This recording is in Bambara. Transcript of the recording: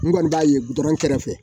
N kɔni b'a ye butɔrɔn kɛrɛfɛ